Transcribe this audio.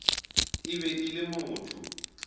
e be e le motho